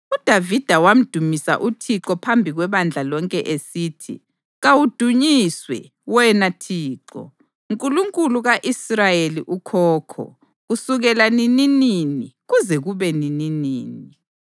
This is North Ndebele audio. UDavida wamdumisa uThixo phambi kwebandla lonke esithi: “Kawudunyiswe, Wena Thixo, Nkulunkulu ka-Israyeli ukhokho, kusukela nininini kuze kube nininini.